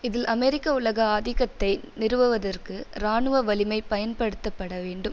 இதில் அமெரிக்க உலக ஆதிக்கத்தை நிறுவுவதற்கு இராணுவ வலிமை பயன்படுத்தப்பட வேண்டும்